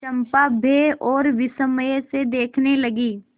चंपा भय और विस्मय से देखने लगी